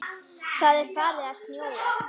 Það er farið að snjóa.